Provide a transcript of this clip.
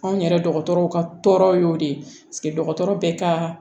Anw yɛrɛ dɔgɔtɔrɔw ka tɔɔrɔ y'o de ye dɔgɔtɔrɔ bɛ ka